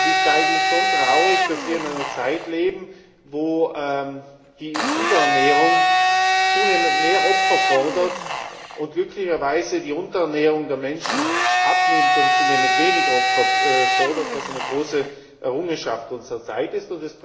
Es ist schon traurig, dass wir in einer Zeit leben, wo die Überernährung zunehmend mehr Opfer fordert und glücklicherweise die Unterernährung der Menschen abnimmt und zunehmend weniger Opfer fordert, was eine große Errungenschaft unserer Zeit ist.